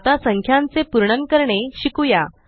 आता संख्यांचे पुर्णंन करणे शिकुया